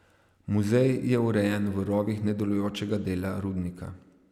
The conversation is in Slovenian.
Muzej je urejen v rovih nedelujočega dela rudnika.